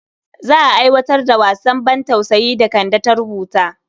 Za a aiwatar da wasan bantausayin da Kande ta rubuta.